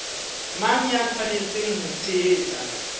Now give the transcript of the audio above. mang ya tshwanetseng ho tshehetsa